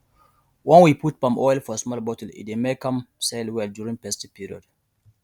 when we put palm oil for small bottle e dey make am sell well during festive period